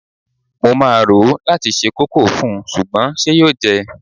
Mo máa rò ó láti se kókò fún, ṣùgbọ́n ṣe yóò jẹ́?